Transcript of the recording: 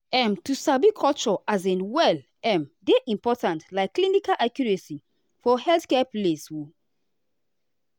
um to sabi culture um well um dey important like clinical accuracy for healthcare place. um